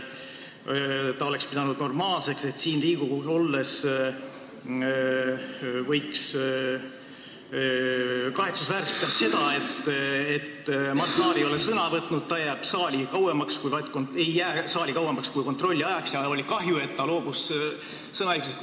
Simson pidas normaalseks seda, et Mart Laar siin Riigikogus olles ei võtnud sõna ega jäänud saali kauemaks kui kohaloleku kontrolli ajaks, aga tal oli kahju, et Laar tol korral loobus sõnaõigusest.